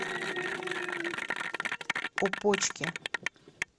опочке